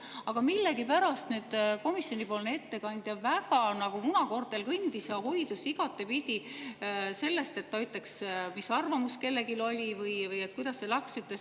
Aga millegipärast nüüd komisjoni ettekandja nagu kõndis väga munakoortel ja hoidus igatepidi sellest, et öelda, mis arvamus kellelgi oli või kuidas see läks.